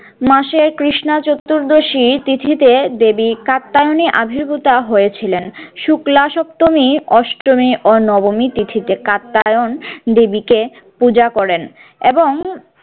মাসের কৃষ্ণা চতুর্দশী তিথিতে দেবী কাত্যায়নী আবির্ভূত হয়েছিলেন। শুক্লা সপ্তমী অষ্টমী ও নবমী তিথিতে কাত্যায়ন দেবীকে পূজা করেন এবং